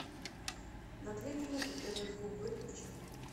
на две минуты тв звук выключи